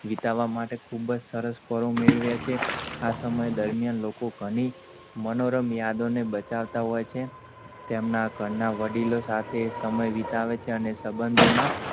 વિતામાં માટે ખૂબ જ સરસ પળો મેળવ્યા છે. આ સમય દરમ્યાન લોકો ઘણી મનોરમ યાદો ને બચાવતા હોય છે. તેમના ઘરના વડીલો સાથે સમય વિતાવે છે. અને શંબધો માં,